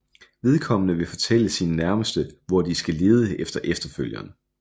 Vedkommende vil fortælle sine nærmeste hvor de skal lede efter efterfølgeren